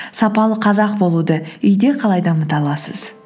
сапалы қазақ болуды үйде қалай дамыта аласыз